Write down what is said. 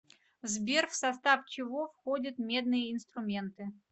сбер в состав чего входит медные инструменты